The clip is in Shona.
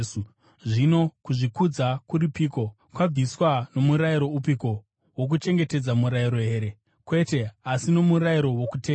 Zvino kuzvikudza kuripiko? Kwabviswa. Nomurayiro upiko? Wokuchengetedza murayiro here? Kwete, asi nomurayiro wokutenda.